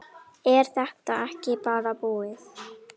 Er þetta ekki bara búið?